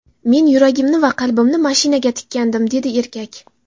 Men yuragimni va qalbimni mashinaga tikkandim”, dedi erkak.